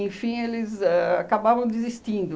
eles ãh acabavam desistindo.